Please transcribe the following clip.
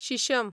शिशम